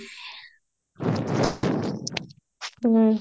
ହୁଁ